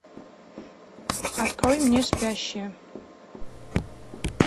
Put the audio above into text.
открой мне спящие